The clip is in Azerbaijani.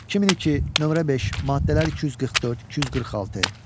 2002, nömrə 5, maddələr 244-246.